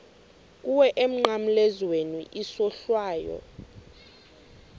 kuwe emnqamlezweni isohlwayo